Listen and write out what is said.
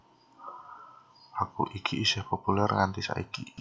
Lagu iki isih populèr nganti saiki